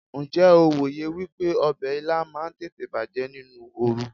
Ǹjẹ́ o wòye wípé ọbẹ̀ Ilá máa ń tètè bàjẹ́ nínú oru?